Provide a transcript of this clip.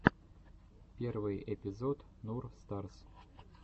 первый эпизод нур старс